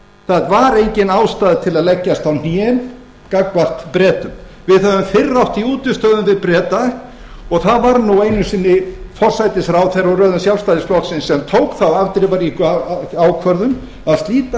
það var engin ástæða til að leggjast á hnén gagnvart bretum við höfum fyrr átt í útistöðum við breta og það var nú einu sinni forsætisráðherra úr röðum sjálfstæðisflokksins sem tók þá afdrifaríku ákvörðun að slíta